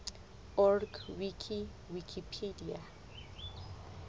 org wiki wikipedia